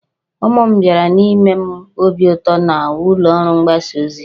Ụmụ m bịara ime m obi ụtọ na ụlọ ọrụ mgbasa ozi